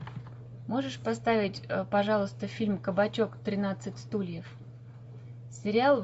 можешь поставить пожалуйста фильм кабачок тринадцать стульев сериал